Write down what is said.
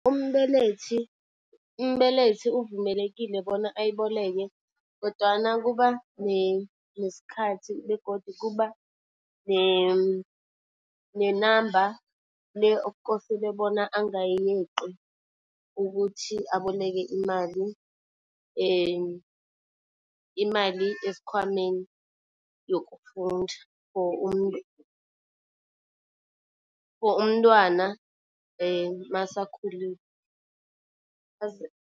Umbelethi, umbelethi uvumelekile bona ayiboleke kodwana kuba nesikhathi begodu kuba ne-number le okukosele bona angayeqi ukuthi aboleke imali. Imali esikhwameni yokufunda for umuntu for umntwana masakhulile